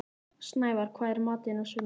Snævarr, hvað er í matinn á sunnudaginn?